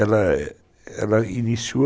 Ela iniciou